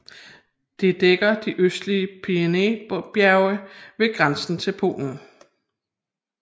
Det dækker de østlige Pieninybjerge ved grænsen til Polen